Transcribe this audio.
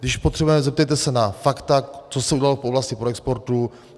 Když potřebujete, zeptejte se na fakta, co se udělalo v oblasti proexportu.